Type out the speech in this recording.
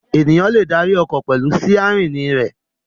Ènìyàn le darí ọkọ̀ pẹ̀lú sítẹ́rínì rẹ̀.